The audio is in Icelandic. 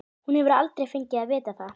Hún hefur aldrei fengið að vita það.